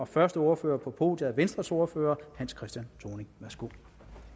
første ordfører på podiet er venstres ordfører hans christian thoning værsgo